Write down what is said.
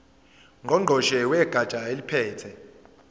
ngqongqoshe wegatsha eliphethe